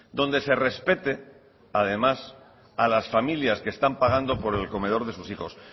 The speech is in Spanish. donde se respete además a las familias que están pagando por el comedor de sus hijos